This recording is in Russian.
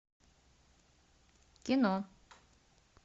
кино